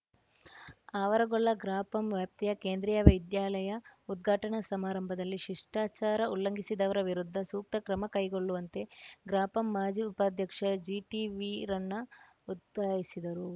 ಆವರಗೊಳ್ಳ ಗ್ರಾಪಂ ವ್ಯಾಪ್ತಿಯ ಕೇಂದ್ರೀಯ ವಿದ್ಯಾಲಯ ಉದ್ಘಾಟನಾ ಸಮಾರಂಭದಲ್ಲಿ ಶಿಷ್ಟಾಚಾರ ಉಲ್ಲಂಘಿಸಿದವರ ವಿರುದ್ಧ ಸೂಕ್ತ ಕ್ರಮ ಕೈಗೊಳ್ಳುವಂತೆ ಗ್ರಾಪಂ ಮಾಜಿ ಉಪಾಧ್ಯಕ್ಷ ಜಿಟಿವೀರಣ್ಣ ಒತ್ತಾಯಿಸಿದರು